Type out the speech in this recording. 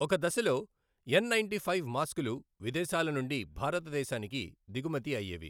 ఒక దశలో, N ninety five మాస్కులు విదేశాల నుండి భారతదేశానికి దిగుమతి అయ్యేవి .